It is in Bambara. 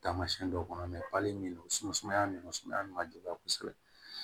Taamasiyɛn dɔw kɔnɔ min don sumaya ninnu sumaya min man juguya kosɛbɛ